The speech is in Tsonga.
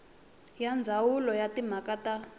ya ndzawulo ya timhaka ta